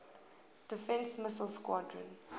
defense missile squadron